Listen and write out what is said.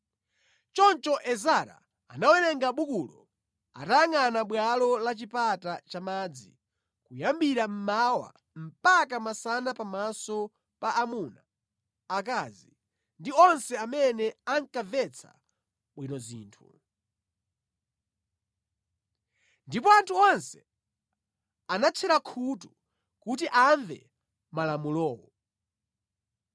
Choncho Ezara anawerenga bukulo atayangʼana bwalo la Chipata cha Madzi kuyambira mmawa mpaka masana pamaso pa amuna, akazi ndi onse amene ankamvetsa bwino zinthu. Ndipo anthu onse anatchera khutu kuti amve malamulowo.